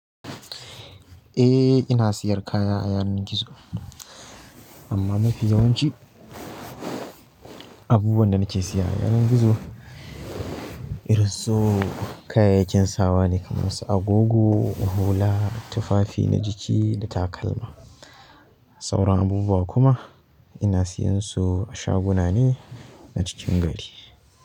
Ina ina sayar kaya a yanar gizo amma mafi yawanci abubuwan da nake siya a yanar gizo irin su kayayyakin sawa ne kamar su agogo, hula, tufafi na jiki da takalma. Sauran abubuwa kuma ina siyan su a shaguna ne na cikin gari.